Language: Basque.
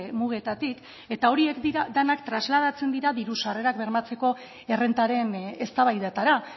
mugetatik eta horiek dira denak trasladatzen dira diru sarrerak bermatzeko errentaren eztabaidetara